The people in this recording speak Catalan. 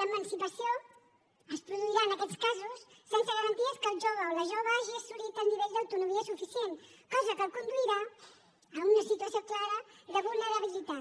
l’emancipació es produirà en aquests casos sense garanties que el jove o la jove hagi assolit el nivell d’autonomia suficient cosa que el conduirà a una situació clara de vulnerabilitat